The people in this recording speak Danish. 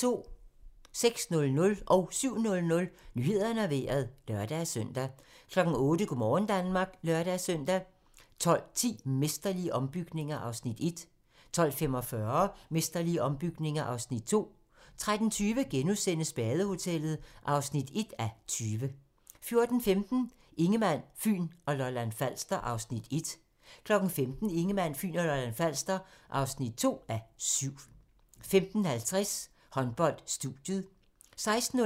06:00: Nyhederne og Vejret (lør-søn) 07:00: Nyhederne og Vejret (lør-søn) 08:00: Go' morgen Danmark (lør-søn) 12:10: Mesterlige ombygninger (Afs. 1) 12:45: Mesterlige ombygninger (Afs. 2) 13:20: Badehotellet (1:20)* 14:15: Ingemann, Fyn og Lolland-Falster (Afs. 1) 15:00: Ingemann, Fyn og Lolland-Falster (2:7) 15:50: Håndbold: Studiet 16:05: Håndbold: Danmark-Spanien (k)